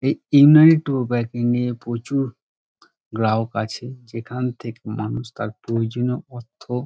এই নিয়ে প্রচুর গ্রাহক আছে | যেখান থেকে মানুষ তার প্রয়োজনীয় অর্থ--